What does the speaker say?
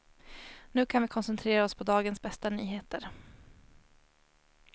Nu kan vi koncentrera oss på dagens bästa nyheter.